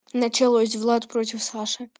началось влад против саши